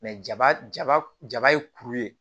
jaba jaba jaba ye kuru ye